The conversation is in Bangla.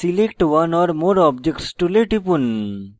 select one or more objects tool টিপুন